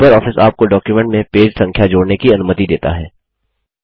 LibreOffice आपको document में page संख्या जोड़ने की अनुमति देता है